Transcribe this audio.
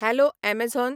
hello Amazon